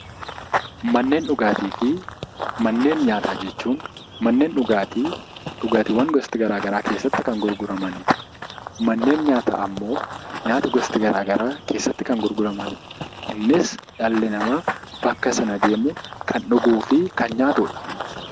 Manneen dhugaatii fi manneen nyaataa jechuun manneen dhugaatii dhugaatiiwwan gosti garaagaraa keessatti kan gurguramanidha. Manneen nyaataa immoo nyaata gosa garaagaraa keessatti kan gurguramanidha. Innis dhalli namaa bakka sana deemuun kan dhuguu fi kan nyaatudha.